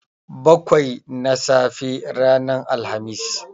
Bakwai na safe ranar Alhamis.